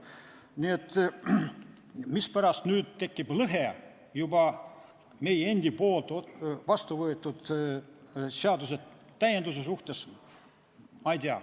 Nii et seda, mispärast nüüd tekib lõhe juba meie endi vastu võetud seaduse täienduse suhtes, ma ei tea.